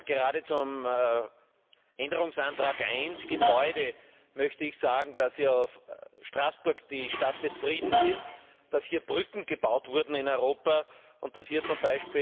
Gerade zum Änderungsantrag 1 Gebäude möchte ich sagen, dass ja Straßburg die Stadt des Friedens ist, dass hier Brücken gebaut wurden in Europa, und dass hier z.